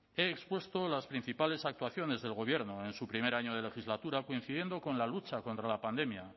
he expuesto las principales actuaciones del gobierno en su primer año de legislatura coincidiendo con la lucha contra la pandemia